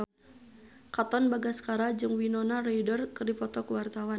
Katon Bagaskara jeung Winona Ryder keur dipoto ku wartawan